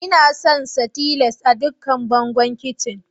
lna son sa tiles a dukkan bangon kicin.